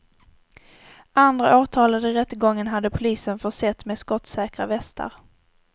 Andra åtalade i rättegången hade polisen försett med skottsäkra västar.